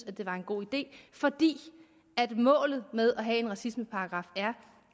at det var en god idé fordi målet med at have en racismeparagraf er